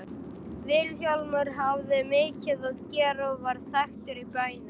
Vilhjálmur hafði mikið að gera og varð þekktur í bænum.